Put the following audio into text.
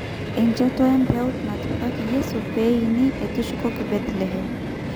Enchoto empeut natipikaki Yeso pee eini etushukoki Bethlehem.